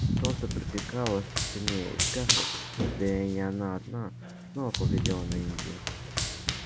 солнце припекало всё сильнее и скарлетт да и не она одна снова поглядела на индию